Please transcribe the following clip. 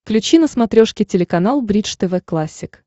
включи на смотрешке телеканал бридж тв классик